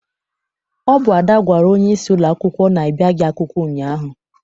Ọ bụ Ada gwara onyeisi ụlọakwụkwọ na I biaghị akwụkwọ ụnyaahụ.